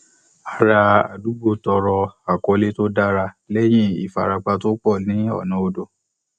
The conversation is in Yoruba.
ará àdúgbò tọrọ àkọlé tó dára lẹyìn ìfarapa tó pọ ní ọnà odò